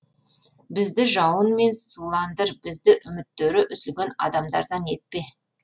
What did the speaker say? бізді жауынмен суландыр бізді үміттері үзілген адамдардан етпе